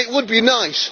It would be nice.